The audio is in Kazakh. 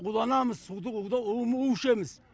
уланамыз уды ішеміз